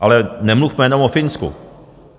Ale nemluvme jenom o Finsku.